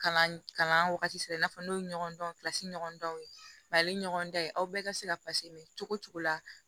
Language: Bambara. Kalan kalan wagati sera i n'a fɔ n'o ye ɲɔgɔn dɔn ɲɔgɔn danw ye ɲɔgɔn dan ye aw bɛɛ ka se ka mɛn cogo cogo la